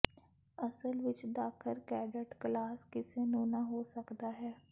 ਅਸਲ ਵਿੱਚ ਦਾਖਲ ਕੈਡੇਟ ਕਲਾਸ ਕਿਸੇ ਨੂੰ ਨਾ ਹੋ ਸਕਦਾ ਹੈ